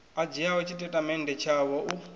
a dzhiaho tshitatamennde tshavho u